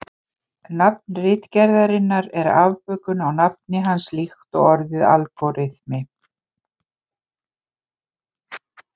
Nafn ritgerðarinnar er afbökun á nafni hans líkt og orðið algóritmi.